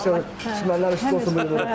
Həmişə düşmənlər qorsun, cənab Prezident.